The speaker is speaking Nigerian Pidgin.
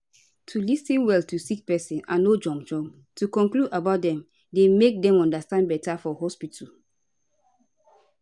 to lis ten well to sick pesin and no jump jump to conclude about dem dey make dem understand beta for hospitu